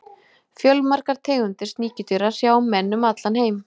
fjölmargar tegundir sníkjudýra hrjá menn um allan heim